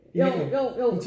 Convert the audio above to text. Jo jo jo